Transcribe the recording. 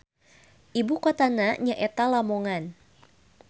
Ibukotana nyaeta Lamongan.